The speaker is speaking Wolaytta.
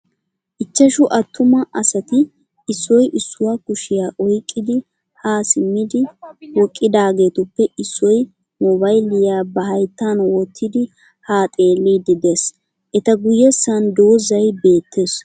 Ichchashu attuma asati issoy issuwaa kushiya oyikkidi haa simmidi wqqidaageetipoe issoy moobayiliya ba hayittan wottidi haa xeelliiddi des. Eta guyyessan dozzay beettes.